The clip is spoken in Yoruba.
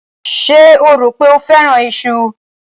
Ṣé o rò pé ó fẹ́ràn iṣu?